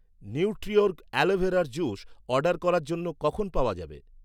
Nutriorg অ্যালোভেরার juice order করার জন্য, কখন পাওয়া যাবে?